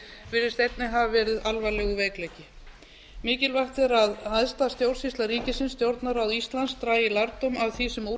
virðist einnig hafa verið alvarlegur veikleiki mikilvægt er að æðsta stjórnsýsla ríkisins stjórnarráð íslands dragi lærdóm af því sem